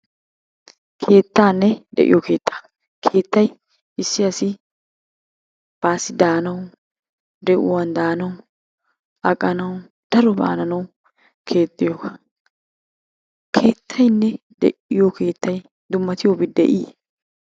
Keettanne de'iyo keettaa, keettay issi asi baassi daanaw, de'uwan daanaw, aqqanaw, darobba hananaw keexxiyooga. Keettaynne de'iyo keettay dummatiyoobi de'i?